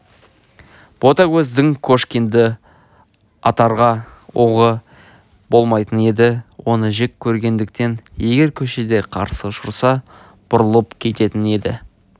ботагөздің кошкинді атарға оғы болмайтын еді оны жек көргендіктен егер көшеде қарсы ұшыраса бұрылып кететін еді